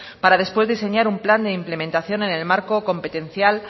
para después diseñar un plan de implementación en el marco competencial